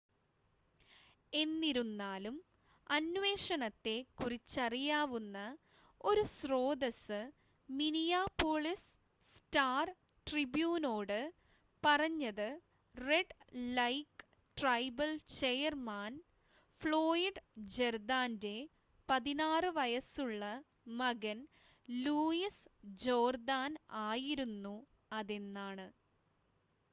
എന്നിരുന്നാലും അന്വേഷണത്തെ കുറിച്ചറിയാവുന്ന ഒരു സ്രോതസ്സ് മിനിയാപോളിസ് സ്റ്റാർ-ട്രിബൂനോട് പറഞ്ഞത് Red Lake tribal chairman Floyd ജേർദാൻ്റെ 16 വയസ് ഉള്ള മകൻ ലൂയിസ് ജോർദാൻ ആയിരുന്നു അതെന്നാണ്